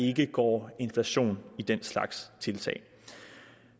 ikke går inflation i den slags tiltag